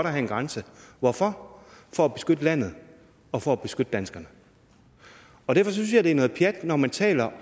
have en grænse hvorfor for at beskytte landet og for at beskytte danskerne derfor synes jeg det er noget pjat når man taler